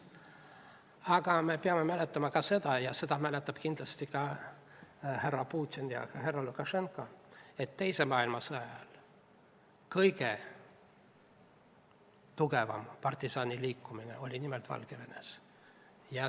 Aga me peame mäletama ka seda – ja seda mäletavad kindlasti ka härra Putin ja härra Lukašenka –, et teise maailmasõja ajal oli kõige tugevam partisaniliikumine just nimelt Valgevenes.